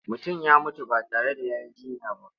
Mutum ya mutu ba tare da ya yi jinya ba.